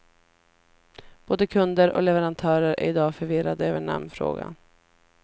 Både kunder och leverantörer är idag förvirrade över namnfrågan.